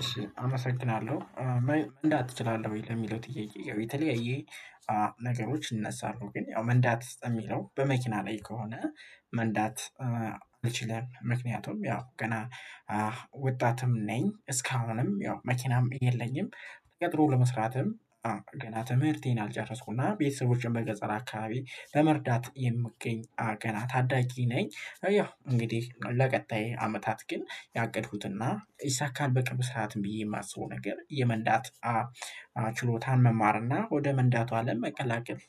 እሺ አመሰግናለሁ። መንዳት ትችላለህ ወይ? ለሚለው ጥያቄ የተለያየ ነገሮች ይነሳሉ ግን ያው መንዳት የሚለው በመኪና ላይ ከሆነ መንዳት አልችልም ምክንያቱም ያው ገና ወጣትም ነኝ፣ እስካሁንም ያው መኪናም የለኝም፣ ጥሩ ለመስራትም አዎ ገና ትምህርቴን አልጨረስኩና ቤተሰቦችን በገጸር አካባቢ በመርዳት የምትገኝ አዎ ገና ታዳጊ ነኝ ያው እንግዲህ ለቀጣይ አመታት ግን ያቀድኩትና ይሳካል በቅርብ ሰዓት ብዬ የማስበው ነገር የመንዳት ችሎታን መማርና ወደ መንዳቱ አለም ለመቀላቀል